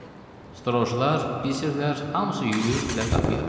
Strojlar, bilirsən, hamısı yüyürdülər qapıya.